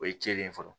O ye cɛnni ye fɔlɔ